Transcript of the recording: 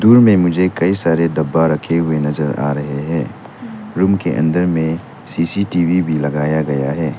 Room में मुझे कई सारे डब्बा रखे हुए नजर आ रहे हैं उनके अंदर में सी_सी_टी_वी भी लगाया गया है।